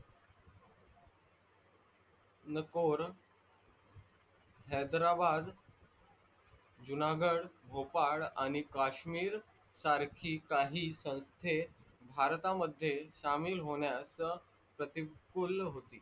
नकोर, हेदारबाद, जुनागढ, भोपाळ आणि काश्मीर सारखी काहि संस्थे भरतामध्ये सामील होण्यात प्रतिकूल होती.